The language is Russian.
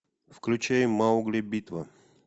включай маугли битва